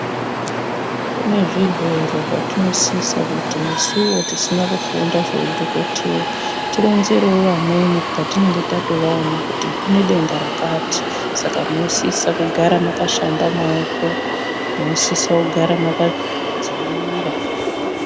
Kune zvirwere zvatinosisa kuti nesuwo tisina kufunda zveudhokodheya tironzerewo vamweni patinemge tatovaona kuti kune denda rakati, saka munosisa kugara makashamba maoko, munosisa kugara makadziirira.